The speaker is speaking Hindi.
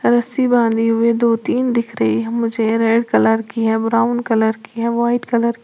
रस्सी बांधी हुई दो तीन दिख रही हैं मुझे। रेड कलर की है ब्राउन कलर की है व्हाइट कलर --